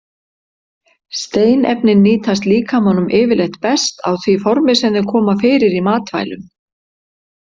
Steinefnin nýtast líkamanum yfirleitt best á því formi sem þau koma fyrir í matvælum.